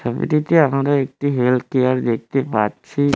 ছবিটিতে আমরা একটি হেলথ কেয়ার দেখতে পাচ্ছি।